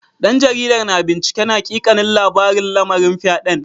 Dan jaridar na binciken hakikanin labarin lamarin fyaden.